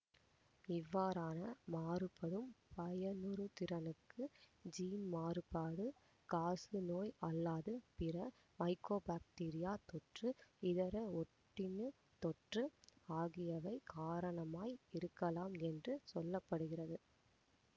இவ்வாறான மாறுபடும் பயனுறுதிறனுக்கு ஜீன்மாறுபாடு காசநோய் அல்லாத பிற மைக்கோபாக்டீரியத் தொற்று இதர ஒட்டுண்ணித் தொற்று ஆகியவை காரணமாய் இருக்கலாம் என்று சொல்ல படுகிறது